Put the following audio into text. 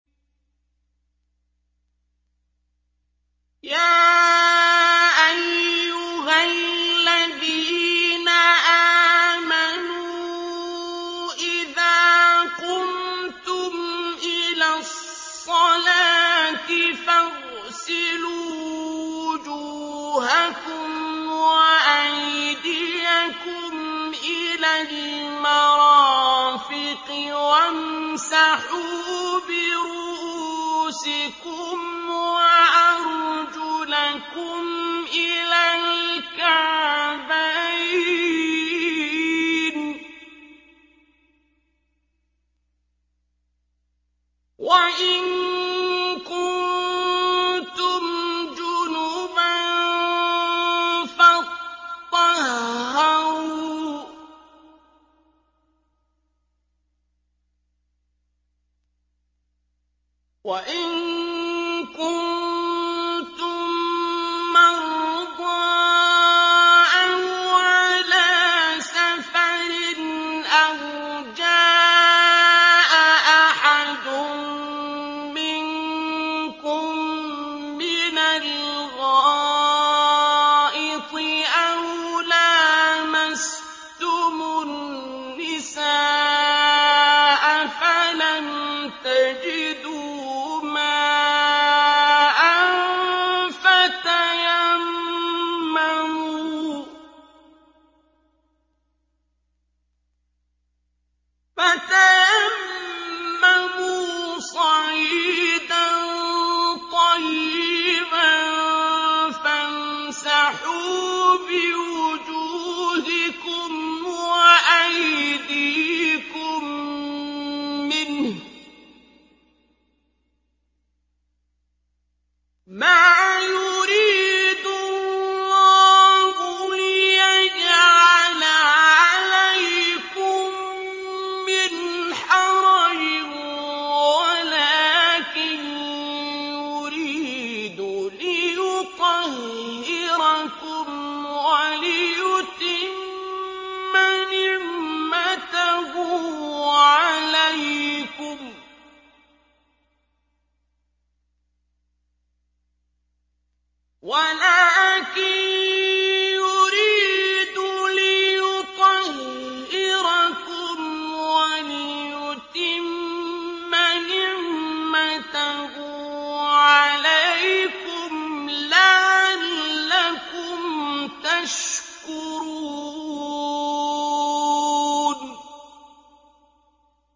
يَا أَيُّهَا الَّذِينَ آمَنُوا إِذَا قُمْتُمْ إِلَى الصَّلَاةِ فَاغْسِلُوا وُجُوهَكُمْ وَأَيْدِيَكُمْ إِلَى الْمَرَافِقِ وَامْسَحُوا بِرُءُوسِكُمْ وَأَرْجُلَكُمْ إِلَى الْكَعْبَيْنِ ۚ وَإِن كُنتُمْ جُنُبًا فَاطَّهَّرُوا ۚ وَإِن كُنتُم مَّرْضَىٰ أَوْ عَلَىٰ سَفَرٍ أَوْ جَاءَ أَحَدٌ مِّنكُم مِّنَ الْغَائِطِ أَوْ لَامَسْتُمُ النِّسَاءَ فَلَمْ تَجِدُوا مَاءً فَتَيَمَّمُوا صَعِيدًا طَيِّبًا فَامْسَحُوا بِوُجُوهِكُمْ وَأَيْدِيكُم مِّنْهُ ۚ مَا يُرِيدُ اللَّهُ لِيَجْعَلَ عَلَيْكُم مِّنْ حَرَجٍ وَلَٰكِن يُرِيدُ لِيُطَهِّرَكُمْ وَلِيُتِمَّ نِعْمَتَهُ عَلَيْكُمْ لَعَلَّكُمْ تَشْكُرُونَ